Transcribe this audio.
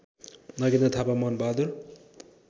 Nagendra Thapa Manbahadur